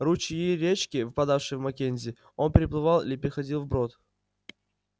ручьи и речки впадавшие в маккензи он переплывал или переходил вброд